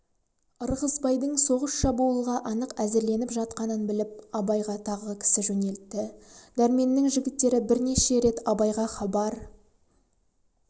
ырғызбайлардың соғыс-шабуылға анық әзірленіп жатқанын біліп абайға тағы кісі жөнелтті дәрменнің жігіттері бірнеше рет абайға хабар